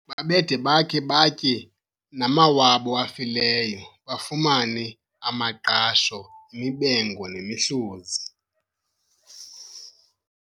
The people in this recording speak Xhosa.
Babede bakhe batye namawabo afileyo, bafumane amaqasho, imibengo nemihluzi.